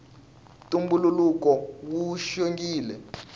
ntumbuluko wu xongile